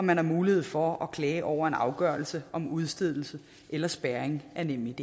man har mulighed for at klage over en afgørelse om udstedelse eller spærring af nemid